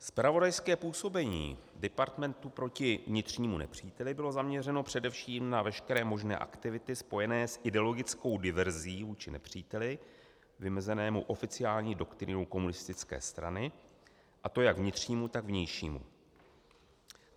Zpravodajské působení departmentu proti vnitřnímu nepříteli bylo zaměřeno především na veškeré možné aktivity spojené s ideologickou diverzí vůči nepříteli, vymezenému oficiální doktrínou komunistické strany, a to jak vnitřnímu, tak vnějšímu.